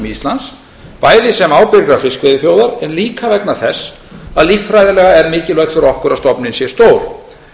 íslands bæði sem ábyrgrar fiskveiðiþjóðar en líka vegna þess að líffræðilega er mikilvægt fyrir okkur að stofninn sé stór